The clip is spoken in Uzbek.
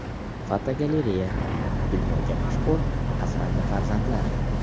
Fotogalereya: Dunyoga mashhur asrandi farzandlar.